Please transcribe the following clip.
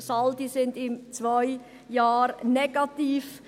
In zwei Jahren sind die Saldi negativ.